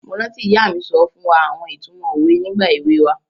Mo rántí ìyá mi so fún wa àwon itumo owe nígbà ewe wa